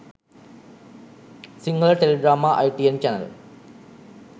sinhala teledrama itn channel